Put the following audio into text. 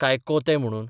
काय कोते म्हणून?